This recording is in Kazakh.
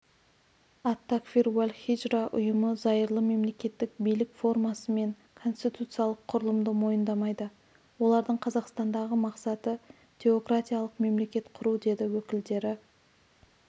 ат-такфир уәл-хиджра ұйымы зайырлы мемлекеттік билік формасы мен конституциялық құрылымды мойындамайды олардың қазақстандағы мақсаты теократиялық мемлекет құру деді өкілдері